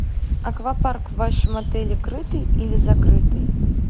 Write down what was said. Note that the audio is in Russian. аквапарк в вашем отеле крытый или закрытый